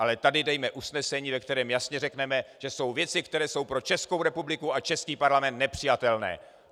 Ale tady dejme usnesení, ve kterém jasně řekneme, že jsou věci, které jsou pro Českou republiku a český parlament nepřijatelné.